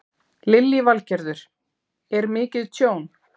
Lillý Valgerður: Er mikið tjón?